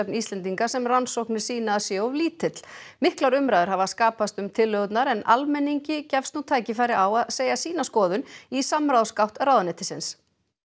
Íslendinga sem rannsóknir sýna að sé of lítill miklar umræður hafa skapast um tillögurnar en almenningi gefst nú tækifæri á að segja sína skoðun í samráðsgátt ráðuneytisins